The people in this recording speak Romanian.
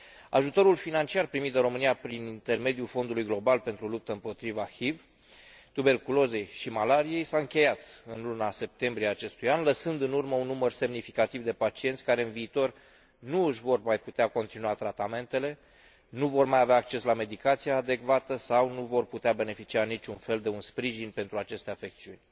Ajutorul financiar primit de România prin intermediul Fondului global pentru luptă împotriva HIV, tuberculozei și malariei s a încheiat în luna septembrie a acestui an, lăsând în urmă un număr semnificativ de pacienți care, în viitor, nu își vor mai putea continua tratamentele, nu vor mai avea acces la medicația adecvată sau nu vor putea beneficia în niciun fel de un sprijin pentru aceste afecțiuni.